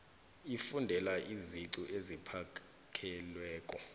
ukufundela iziqu eziphakemeko